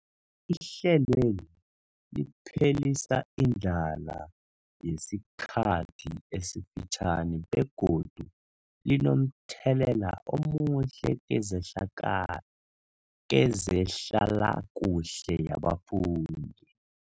Ihlelweli liphelisa indlala yesikhathi esifitjhani begodu linomthelela omuhle kezehlala kezehlalakuhle yabafundi.